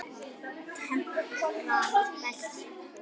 Temprað belti.